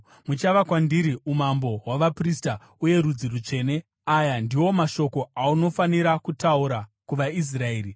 muchava kwandiri umambo hwavaprista uye rudzi rutsvene.’ Aya ndiwo mashoko aunofanira kutaura kuvaIsraeri.”